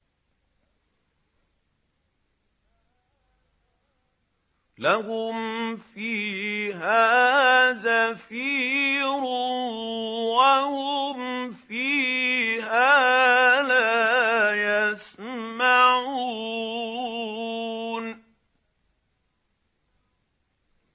لَهُمْ فِيهَا زَفِيرٌ وَهُمْ فِيهَا لَا يَسْمَعُونَ